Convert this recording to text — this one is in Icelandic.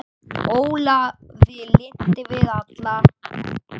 Ólafi lynti við alla